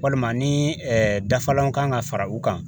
Walima ni dafalan kan ka fara u kan